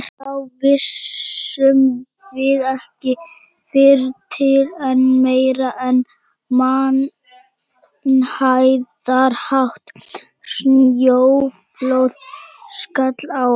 Þá vissum við ekki fyrr til en meira en mannhæðarhátt snjóflóð skall á okkur.